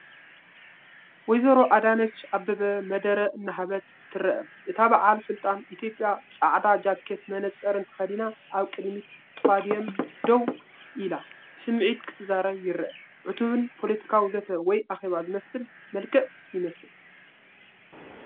ወ/ሮ ኣዳነች ኣበበ መደረ እናሃበት ትረአ፣ እታ በዓል ስልጣን ኢትዮጵያ፡ ጻዕዳ ጃኬትን መነጽርን ተኸዲና ኣብ ቅድሚ ፖድዮም ደው ኣላ፡ ብስምዒት ክትዛረብ ይርአ። ዕቱብን ፖለቲካዊ ዘተ ወይ ኣኼባ ዝመስል መልክዕ ይመስል።